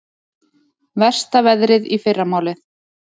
Versta veðrið í fyrramálið